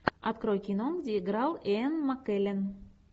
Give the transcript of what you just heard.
открой кино где играл иэн маккеллен